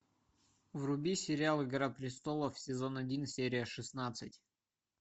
вруби сериал игра престолов сезон один серия шестнадцать